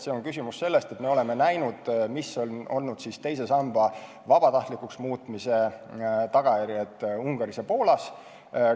See on küsimus sellest, et me oleme näinud, mis on olnud teise samba vabatahtlikuks muutmise tagajärjed Ungaris ja Poolas.